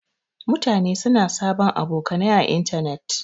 Mutane suna sabon abokanai à intanet.